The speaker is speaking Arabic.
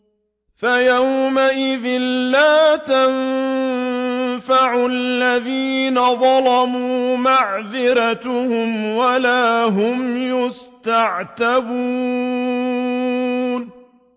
فَيَوْمَئِذٍ لَّا يَنفَعُ الَّذِينَ ظَلَمُوا مَعْذِرَتُهُمْ وَلَا هُمْ يُسْتَعْتَبُونَ